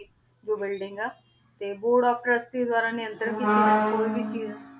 ਆਯ ਵੀ ਇਨਾਂ ਦੀ ਜੋ ਬੁਇਲ੍ਡਿੰਗ ਆ ਤੇ ਬੋਆਰਡ ਓਫ ਤ੍ਰੁਸ੍ਟ੍ਰੀ ਦਵਾਰਾ ਨੇੰਤਰਾਂ ਕੀਤੀ ਗ